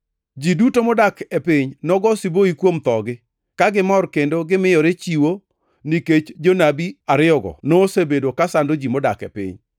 Ji duto modak e piny nogo siboi kuom thogi, ka gimor kendo gimiyore chiwo, nikech jonabi ariyogo nosebedo kasando ji modak e piny.